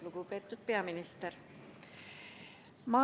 Lugupeetud peaminister!